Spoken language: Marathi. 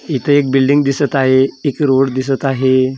इथं एक बिल्डींग दिसत आहे एक रोड दिसत आहे .